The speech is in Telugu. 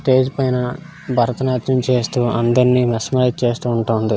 స్టేజి పైన భరతనాట్యం చేస్తూ అందరాని మెస్మరైజ్ చేస్తా ఉంటుంది.